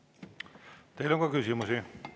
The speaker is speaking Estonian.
Teile on ka küsimusi.